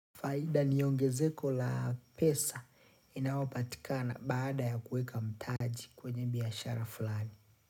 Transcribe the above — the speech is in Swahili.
Faida ni ongezeko la pesa inaopatikana baada ya kuweka mtaji kwenye biashara fulani.